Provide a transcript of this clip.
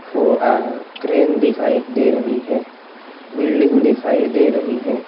Crane दिखाई दे रही है बिल्डिंग दिखाई दे रही है।